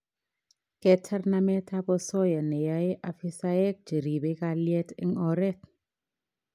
Ketar nametap osoya neyaei afisaek che ribei kalyet eng oret